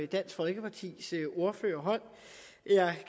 dansk folkepartis ordfører holdt